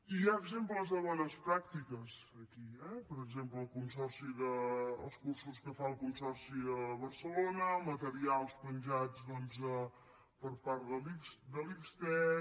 hi ha exemples de bones pràctiques aquí eh per exemple els cursos que fa el consorci de barcelona materials penjats per part de la xtec